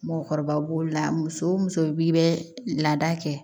Mɔgɔkɔrɔba b'o la muso o muso b'i bɛ laada kɛ